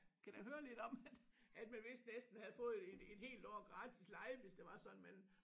Kan da høre lidt om at at man vist næsten havde fået et et helt år gratis leje hvis det var sådan men